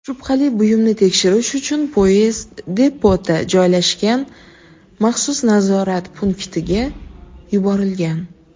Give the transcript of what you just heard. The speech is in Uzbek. shubhali buyumni tekshirish uchun poyezd depoda joylashgan maxsus nazorat punktiga yuborilgan.